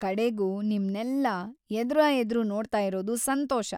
ಕಡೆಗೂ ನಿಮ್ನೆಲ್ಲಾ ಎದುರಾಎದ್ರು ನೋಡ್ತಾಯಿರೋದು ಸಂತೋಷ.